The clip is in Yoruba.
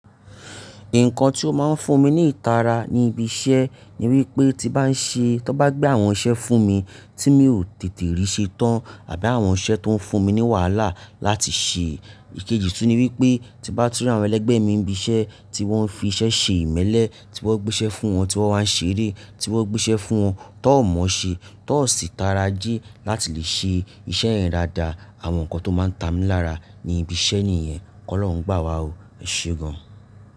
Nǹkan tí ó máa ń fún mi ní ìtara ní ibi iṣẹ́ ni wípé tí bá ń ṣe, tí wọ́n bá gbé àwọn iṣẹ́ fún mi tí mi ò tètè rí ṣẹ tán àbí àwọn iṣẹ́ tó ń fún mi ní wàhálà láti ṣe. Ikeji tún ni wípé tí bá tú rí àwọn ẹlẹgbẹ́ mi ibi iṣẹ́ tí wọ́n fi iṣẹ́ ṣe ìmẹ́lẹ́, tí wọ́n gbé iṣẹ́ fún wọn, tí wọ́n máa ń ṣe eré, tí wọ́n gbé iṣẹ́ fún wọn, tí wọ́n ò mọ ṣe, tí wọ́n o sì tara jí láti lè ṣe iṣẹ́ yẹ dádá. Àwọn nǹkan tó máa ń ta mí lára ní ibi iṣẹ́ nìyẹn. Ọlọ́run gbà wá o. Ẹ ṣe gan.